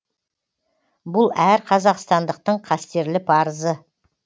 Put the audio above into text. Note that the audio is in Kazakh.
бұл әр қазақстандықтың қастерлі парызы